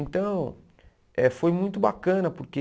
Então, eh foi muito bacana porque...